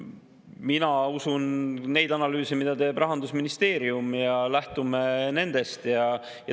Mina usun neid analüüse, mida teeb Rahandusministeerium, ja lähtun nendest.